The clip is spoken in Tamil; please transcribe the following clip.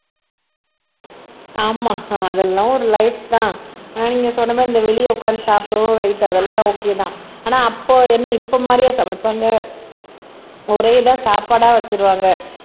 ஆமா அதெல்லாம் ஒரு லைப்தான் ஆனா நீங்க சொன்ன மாதிரி இந்த வெளியே உட்கார்ந்து சாப்பிடவும் ரைட் அதெல்லாம் ஒகேதான் ஆனா அப்போ என்னை இப்போ மாதிரியா சமைப்பாங்க ஒரே இதை சாப்பாடா வச்சிருவாங்க